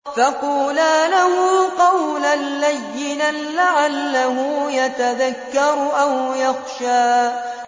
فَقُولَا لَهُ قَوْلًا لَّيِّنًا لَّعَلَّهُ يَتَذَكَّرُ أَوْ يَخْشَىٰ